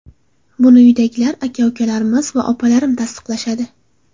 Buni uydagilar aka-ukalarimiz va opalarim tasdiqlashadi.